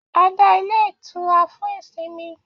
A dá ilé itura fún ìsinmi